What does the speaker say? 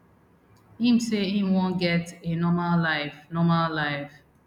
im say im wan get a normal life normal life